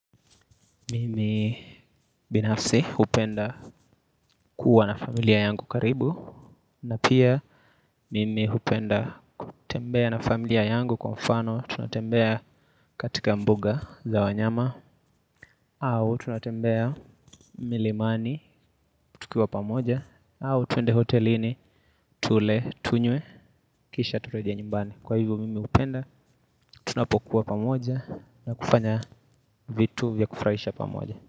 Mimi binafsi hupenda kuwa na familia yangu karibu. Mimi binafsi hupenda kuwa na familia yangu karibu. Na pia mimi hupenda kutembea na familia yangu kwa mfano. Tunatembea katika mbuga za wanyama. Au twende hotelini tule, tunywe kisha turejee nyumbani. Kwa hivyo mimi hupenda tunapokua pamoja na kufanya vitu vya kufurahisha pamoja.